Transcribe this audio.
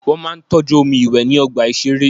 Wọ́n máa ń tọ́jú omi ìwé ní ọgbà ìṣeré.